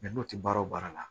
n'o tɛ baara o baara la